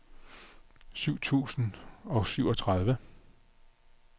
syv tusind og syvogtredive